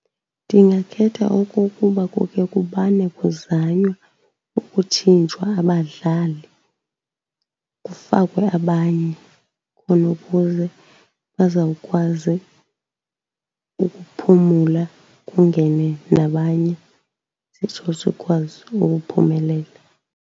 Ndingakhetha okokuba kuke kumane kuzanywa ukutshintshwa abadlali kufakwe abanye, khona ukuze bazawukwazi ukuphumula kungene nabanye sitsho sikwazi ukuphumelela.